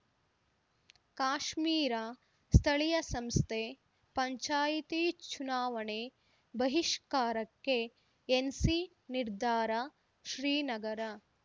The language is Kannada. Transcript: ಕಾಶ್ಮೀರ ಸ್ಥಳೀಯ ಸಂಸ್ಥೆ ಪಂಚಾಯಿತಿ ಚುನಾವಣೆ ಬಹಿಷ್ಕಾರಕ್ಕೆ ಎನ್‌ಸಿ ನಿರ್ಧಾರ ಶ್ರೀನಗರ